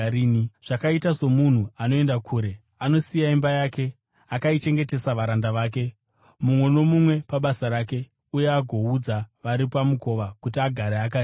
Zvakaita somunhu anoenda kure: Anosiya imba yake akaichengetesa varanda vake, mumwe nomumwe pabasa rake, uye agoudza ari pamukova kuti agare akarinda.